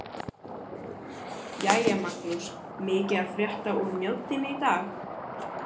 Jæja Magnús- mikið að frétta úr Mjóddinni í dag?